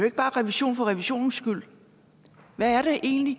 ikke bare revision for revisionens skyld hvad er det egentlig